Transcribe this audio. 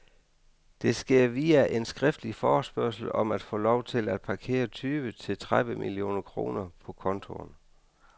Det sker via en skriftlig forespørgsel om at få lov til at parkere tyve til tredive millioner kroner på kontoen.